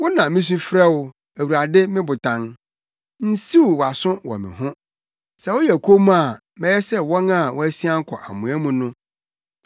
Wo na misu frɛ wo, Awurade me Botan; nsiw wʼaso wɔ me ho. Sɛ woyɛ komm a, mɛyɛ sɛ wɔn a wɔasian kɔ amoa mu no.